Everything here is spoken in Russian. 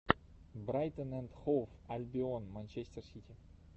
брайтон энд хоув альбион манчестер сити